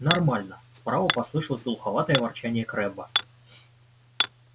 нормально справа послышалось глуховатое ворчание крэбба